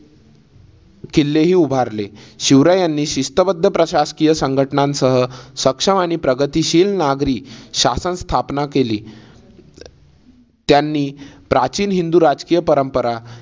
किल्लेही उभारले. शिवरायांनी शिस्तबद्ध प्रशासकीय संघटनासह सक्षम आणि प्रगतीशील नागरी शासन स्थापना केली. त्यांनी प्राचीन हिंदू राजकीय परंपरा